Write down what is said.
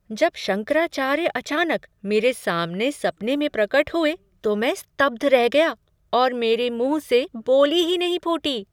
जब शंकराचार्य अचानक मेरे सामने सपने में प्रकट हुए तो मैं स्तब्ध रह गया और मेरे मुँह से बोली ही नहीं फूटी।